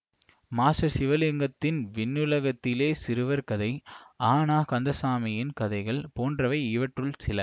master சிவலிங்கத்தின் விண்ணுலகத்திலே சிறுவர் கதை அ ந கந்தசாமியின் கதைகள் போன்றவை இவற்றுள் சில